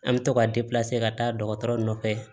An bɛ to ka ka taa dɔgɔtɔrɔ nɔfɛ